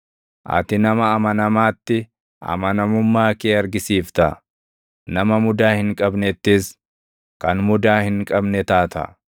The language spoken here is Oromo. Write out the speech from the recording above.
Ati nama amanamaatti amanamummaa kee argisiifta; nama mudaa hin qabnettis kan mudaa hin qabne taata.